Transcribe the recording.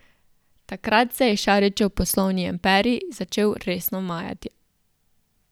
Takrat se je Šarićev poslovni imperij začel resno majati.